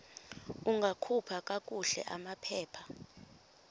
ungakhupha kakuhle amaphepha